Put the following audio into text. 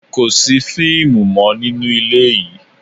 Kò sí fíìmù mọ nínú ilé yìí!